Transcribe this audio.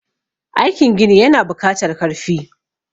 aikin gini yana bukatar karfi